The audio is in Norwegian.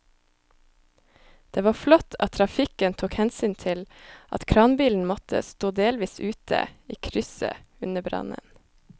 Det var flott at trafikken tok hensyn til at kranbilen måtte stå delvis ute i krysset under brannen.